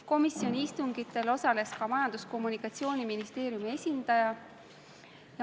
Komisjoni istungitel osales ka Majandus- ja Kommunikatsiooniministeeriumi esindaja.